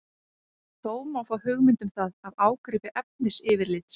Þó má fá hugmynd um það af ágripi efnisyfirlits.